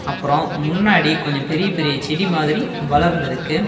அப்றோ முன்னாடி கொஞ்சோ பெரிய பெரிய செடி மாதிரி வளர்ந்திருக்கு.